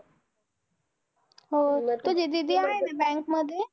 हो. तुझी दीदी आहे ना bank मध्ये?